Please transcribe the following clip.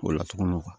O la tuguni